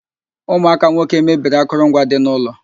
Ụmụaka nwoke mebiri akụrụ ngwa dị n'ụlọ